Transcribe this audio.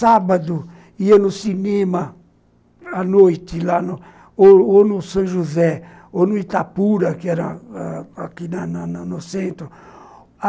Sábado ia no cinema, à noite, lá no, ou ou no São José, ou no Itapura, que era aqui no no centro.